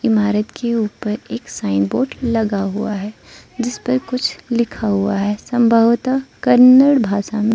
इमारत के ऊपर एक साइन बोर्ड लगा हुआ है जिस पर कुछ लिखा हुआ है संभवत कन्नड़ भाषा में।